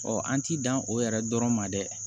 an t'i dan o yɛrɛ dɔrɔn ma dɛ